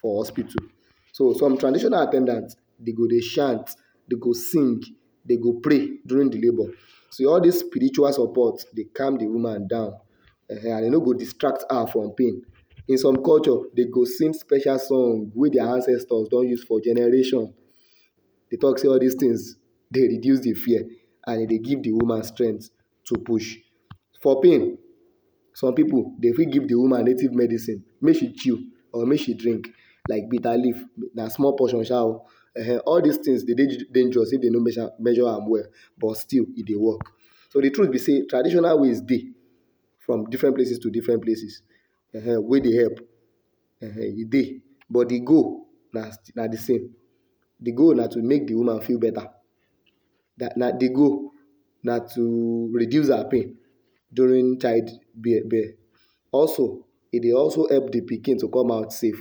for hospital so some traditional at ten dant, dey go dey chant, dey go sing, dey go pray during de labour. So all dis spiritual support dey calm de woman down um and e no go distract her from pain. In some culture, dey go sing special song wey dia ancestors don use generation, dey talk say all dis things dey reduce de fear and e dey give d woman strength to push. For pain some pipu dey fit give de woman native medicine make she chew or make she drink like bitter leaf na small portion sha o um. All dis things dey dey dangerous if dem no measure am well but still e dey work, but de truth be sey traditional ways dey from different places to different places, wey dey help um e dey but de goal na na de same. de goal na to make de woman feel beta de goal na to reduce her pain during child birth. Also, e dey also help de pikin to come out safe.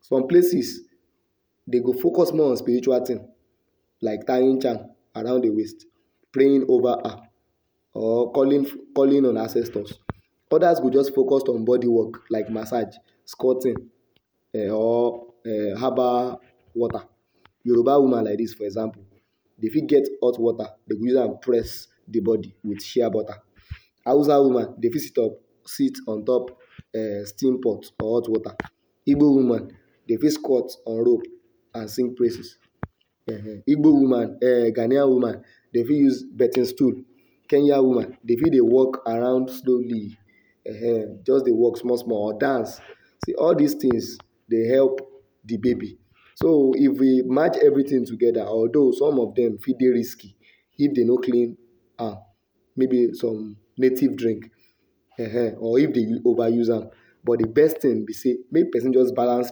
Some places, dey go focus more on spiritual things like tying charm around de waist, praying over her or calling calling on ancestors. Others focus on bodi works like massage, squatting um or um herbal water. Yoruba woman like dis for example, dey fit get hot water, dey go use am press de bodi with shea butter. Hausa woman, dey fit sit up sit on top um steam pot or hot water. Igbo woman dey fit squat on rope and sing praises. Igbo woman um Ghanaian woman dey fit use birthing stool. Kenyan woman dey fit dey walk around slowly um just dey walk small small or dance. All dis things dey help de baby so if you match all dis things together although some of dem fit dey risky, if dey no clean am maybe some native drink um or if dey over use am but de best thing be say make person just balance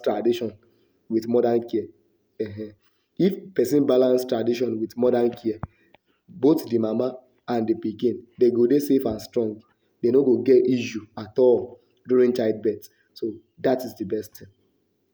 tradition with modern care um. if person balance tradition with modern care, both de mama and de pikin dey go dey safe and strong dey no go get issue at all during childbirth so dat is de best thing.